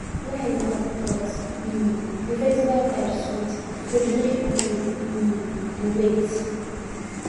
line long but um di festival vibe sweet so we no even feel um di wait